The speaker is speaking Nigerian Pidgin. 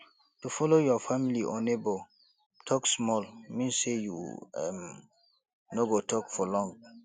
to follow your family or neighbour talk small mean say you um no go talk for long